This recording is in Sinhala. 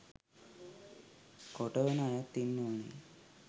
කොටවන අයත් ඉන්නවානේ.